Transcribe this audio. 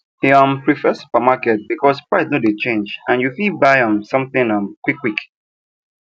he um prefer supermarket because price no de change and you fit buy um something um quick quick